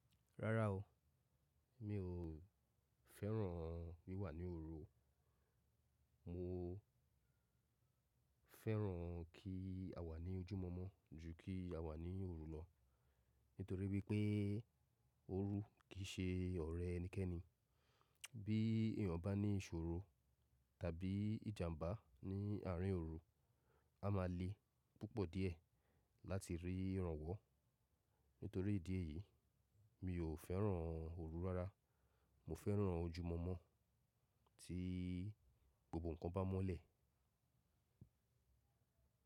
Rárá o, mi ò fẹ́ràn wí wà ní òru. Mo fẹ́ràn kí a wà ní ojúmọ́mọ́ ju kí a wà ní òru lọ nítorí wípé́ òru kì í ṣe ọ̀rẹ́ ẹnikẹ́ni. Bí èèyàn bá ní ìṣòro tàbí ìjàmbá ní àárín òru, a máa le púpọ̀ díẹ̀ láti rí ìrànwọ́. Nítorí ìdí èyí mi ò fẹ́ràn òru rárá. Mo fẹ́ràn ojúmọ́mọ́ tí gbogbo nǹkan bá mọ́lẹ̀.